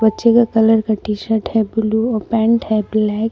बच्चे का कलर का टी शर्ट है ब्लू पैंट है ब्लैक ।